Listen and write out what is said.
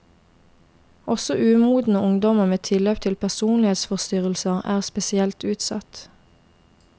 Også umodne ungdommer med tilløp til personlighetsforstyrrelser er spesielt utsatt.